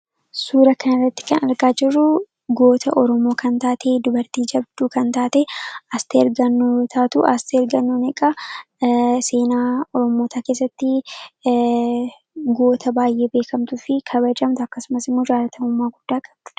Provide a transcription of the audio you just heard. Suuraa kana irratti kan argaa jirru goota Oromoo kan taate, dubartii jabduu kan taate Asteer Gannoo yoo taatu, Asteer Gannoon egaa seenaa Oromootaa keessatti goota baay'ee beekamtuu fi kabajamtu, akkasumas immoo jaallatamummaa guddaa qabduudha.